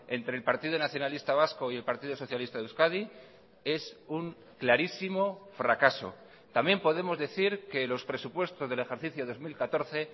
entre el partido nacionalista vasco y el partido socialista de euskadi es un clarísimo fracaso también podemos decir que los presupuestos del ejercicio dos mil catorce